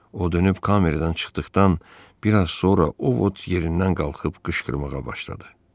O dönüb kameradan çıxdıqdan biraz sonra o yerindən qalxıb qışqırmağa başladı.